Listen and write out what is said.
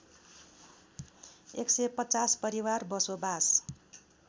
१५० परिवार बसोबास